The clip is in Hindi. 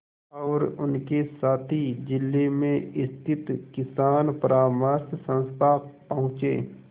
और उनके साथी जिले में स्थित किसान परामर्श संस्था पहुँचे